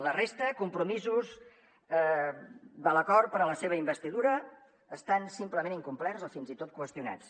la resta de compromisos de l’acord per a la seva investidura estan simplement incomplerts o fins i tot qüestionats